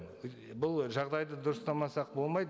бұл жағдайды дұрыстамасақ болмайды